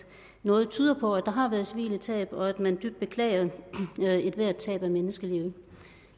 noget tyder på at der har været civile tab og at man dybt beklager ethvert tab af menneskeliv